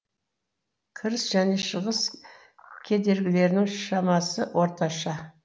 кіріс жөне шығыс кедергілерінің шамасы орташа